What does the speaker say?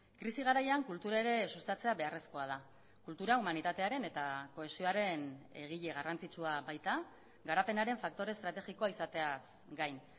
krisi garaian kultura ere sustatzea beharrezkoa da kultura humanitatearen eta kohesioaren egile garrantzitsua baita garapenaren faktore estrategikoa izateaz gain